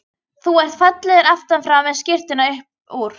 Þú ert fallegur aftan frá með skyrtuna upp úr.